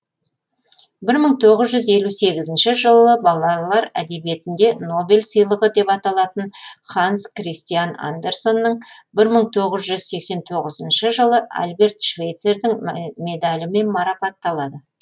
бір мың тоғыз жүз елу сегізінші жылы балалар әдебиетінде нобель сыйлығы деп аталатын ханс кристиан андерсонның бір мың тоғыз жүз сексен тоғызыншы жылы альберт швейцердің медалімен марапатталады